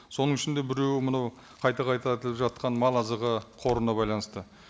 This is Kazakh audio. соның ішінде біреуі мынау қайта қайта айтылып жатқан мал азығы қорына байланысты